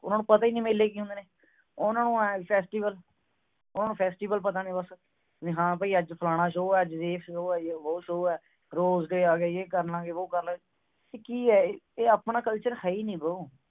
ਉਨ੍ਹਾਂ ਨੂੰ ਪਤਾ ਹੀ ਨਹੀਂ ਮੇਲੇ ਕੀ ਹੁੰਦੇ ਨੇ ਉਹਨਾਂ ਨੂੰ ਐਹ festival ਉਨ੍ਹਾਂ ਨੂੰ festival ਪਤਾ ਨੇ ਬਸ ਹਾਂ ਭਈ ਅੱਜ ਫਲਾਣਾ show ਹੈ ਅੱਜ ਇਹ show ਹੈ ਅੱਜ ਉਹ show ਹੈ rose day ਆਗਿਆ ਜੇ ਕਰ ਲਵਾਂਗੇ ਉਹ ਕਰ ਲਵਾਂਗੇ ਇਹ ਕੀ ਹੈ ਇਹ ਆਪਣਾ culture ਹੈ ਹੀ ਨਹੀਂ bro